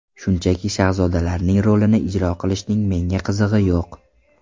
Shunchaki shahzodalarning rolini ijro qilishning menga qizig‘i yo‘q.